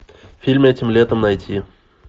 фильм этим летом найти